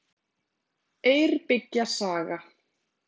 Eyrbyggja saga.